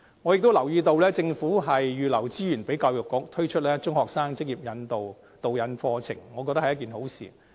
我亦留意到政府預留資源給教育局，推出中學生職業導引課程，我覺得是一件好事。